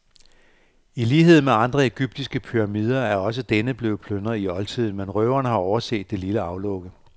I lighed med andre egyptiske pyramider er også denne blevet plyndret i oldtiden, men røverne har overset det lille aflukke.